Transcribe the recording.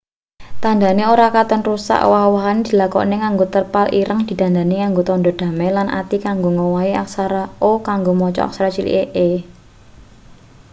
tandhane ora katon rusak owah-owahane dilakokake nganggo terpal ireng didandani nganggo tandha damai lan ati kanggo ngowahi aksara o kanggo maca aksara cilik e